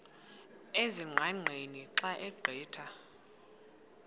ezingqaqeni xa ugqitha